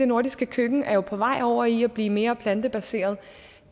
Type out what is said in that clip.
nordiske køkken er jo på vej over i at blive mere plantebaseret